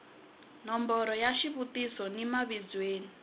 nomboro ya xivutiso ni mavizweni